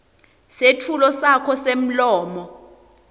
setfulo sakho semlomo